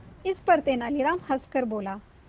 इस पर तेनालीराम हंसकर बोला